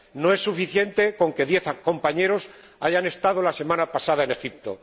No es suficiente con que diez compañeros hayan estado la semana pasada en Egipto.